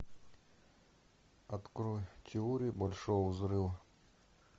открой теорию большого взрыва